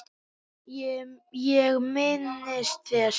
JÓN: Ég minnist þess.